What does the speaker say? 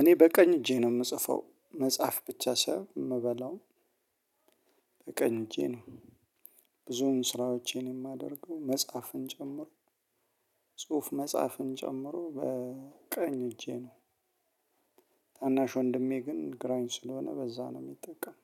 እኔ በቀኝ እጄ ነው የምጽፈው መጻፍ ብቻ ሳይሆን የምበላው። በቀኝ እጄ ነው። ብዙውም ስራዎቼን የማደርገው መጻፍ ጨምሮ። ጽሁፍ መጻፍን ጨምሮ በቀኝ እጄ ነው። ታናሽ ወንድሜ ግን ግራኝ ስለሆነ በዛ ነው የሚጠቀመው።